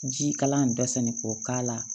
Jikalan in datɛnni ko k'a la